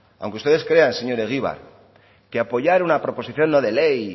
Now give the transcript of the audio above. aunque usted crea señor egibar que apoyar una proposición no de ley